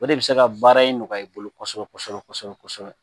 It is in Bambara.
O de bɛ se ka baara in nɔgɔya i bolo kosɛbɛ kosɛbɛ kosɛbɛ kosɛbɛ